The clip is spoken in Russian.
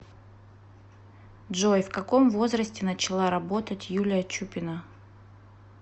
джой в каком возрасте начала работать юлия чупина